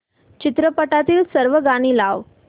चित्रपटातील सर्व गाणी लाव